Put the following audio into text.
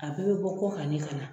A bɛɛ bɛ bɔ kɔkan ne ka na.